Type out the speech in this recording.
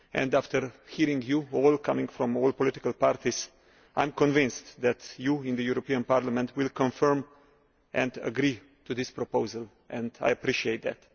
After hearing you all, coming from all political parties, I am convinced that you in the European Parliament will confirm and agree to this proposal, and I appreciate that.